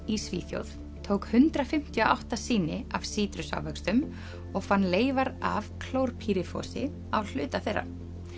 í Svíþjóð tók hundrað fimmtíu og átta sýni af sítrusávöxtum og fann leifar af á hluta þeirra